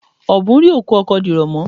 Ọ̀bùn rí ikú ọkọ dìrọ̀ mọ́.